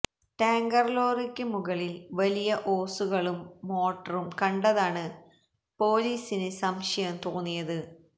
tanker ലോറിക്ക് മുകളില് വലിയ ഓസുകളും മോട്ടറും കണ്ടതാണ് പോലീസിന് സംശയം തോന്നിയത്